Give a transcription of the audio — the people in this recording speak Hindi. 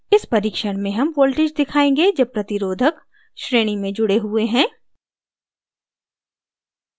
इस परीक्षण में हम voltage दिखायेंगे जब प्रतिरोधक resistor श्रेणी में जुड़े हुए हैं